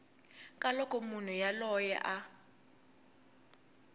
ka loko munhu yoloye a